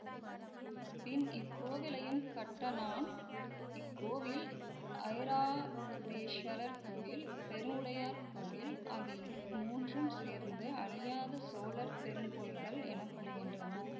பின் இக்கோவிலையும் கட்டனான் இக்கோவில் ஐராதேஸ்வரர் கோயில் பெருவுடையார் கோயில் ஆகிய மூன்றும் சேர்த்து அழியாத சோழர் பெருங்கோயில்கள் எனப்படுகின்றன